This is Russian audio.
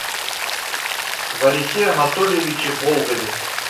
варисе анатольевиче болгове